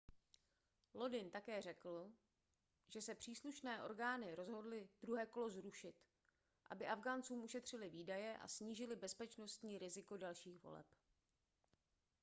lodin také řekl že se příslušné orgány rozhodly druhé kolo zrušit aby afgháncům ušetřily výdaje a snížily bezpečnostní riziko dalších voleb